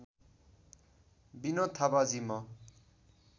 विनोद थापाजी म